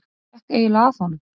Hvað gekk eiginlega að honum?